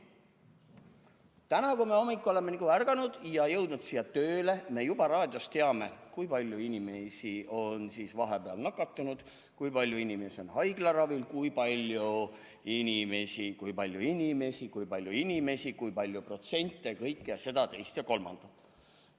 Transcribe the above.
Täna, kui me hommikul oleme ärganud ja jõudnud siia tööle, me juba raadiost teame, kui palju inimesi on vahepeal nakatunud, kui palju inimesi on haiglaravil, kui palju inimesi, kui palju inimesi, kui palju inimesi, kui palju protsente – kõike seda, teist ja kolmandat.